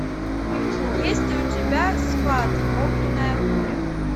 есть ли у тебя сват огненная буря